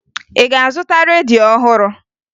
Ị ga-azụta redio ọhụrụ?